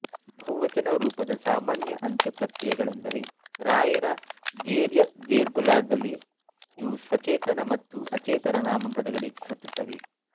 ಬಹುವಚನ ರೂಪದ ಸಾಮಾನ್ಯ ಅಂತ್ಯಪ್ರತ್ಯಯಗಳೆಂದರೆರಾಏರಾದೇರ್ಏದೇರ್ಗುಲಾಗಲೀ ಇವು ಸಚೇತನ ಮತ್ತು ಅಚೇತನ ನಾಮಪದಗಳಿಗೆ ಹತ್ತುತ್ತವೆ